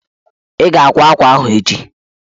Ị ga-akwa akwa ahụ echi?